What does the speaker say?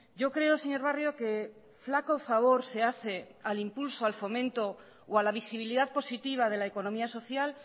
yo creo señor barrio que flaco favor se hace al impulso al fomento o a la visibilidad positiva de la economía social